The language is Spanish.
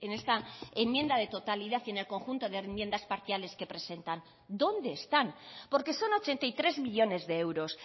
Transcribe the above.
esta enmienda de totalidad y en el conjunto de enmiendas parciales que presentan dónde están porque son ochenta y tres millónes de euros